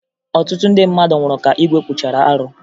Ọtụtụ ndị mmadụ nwụrụ ka igwe kwuchara arụ